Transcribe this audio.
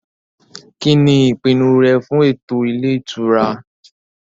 Kíni ìpinnu rẹ fún ètò ilé ìtura?